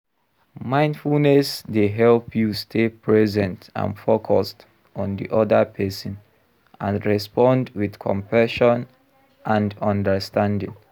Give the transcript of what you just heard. Mindfulness dey help you stay present and focused on di oda pesin, and respond with compassion and understanding.